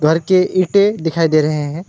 घर के ईटे दिखाई दे रहे है।